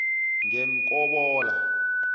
ngemkobola